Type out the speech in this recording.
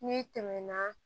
N'i tɛmɛna